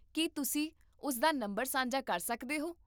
ਕੀ ਤੁਸੀਂ ਉਸ ਦਾ ਨੰਬਰ ਸਾਂਝਾ ਕਰ ਸਕਦੇ ਹੋ?